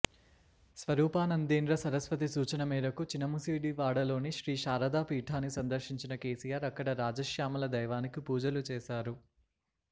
స్వరూపానందేంద్ర సరస్వతి సూచన మేరకు చినముసిడివాడలోని శ్రీ శారద పీఠాన్ని సందర్శించిన కేసీఆర్ అక్కడ రాజశ్యామల దైవానికి పూజలు చేశారు